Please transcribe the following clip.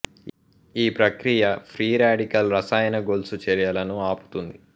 ఈ ప్రక్రియ free radical రసాయన గొలుసు చర్యలను ఆపుతుంది